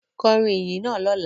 Kọrin iyin naa lọla!